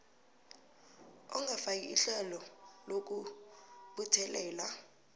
ongafaki ihlelo lokubuthelela